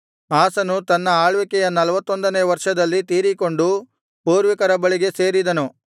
ಆಸನು ತನ್ನ ಆಳ್ವಿಕೆಯ ನಲ್ವತ್ತೊಂದನೆಯ ವರ್ಷದಲ್ಲಿ ತೀರಿಕೊಂಡು ಪೂರ್ವಿಕರ ಬಳಿಗೆ ಸೇರಿದನು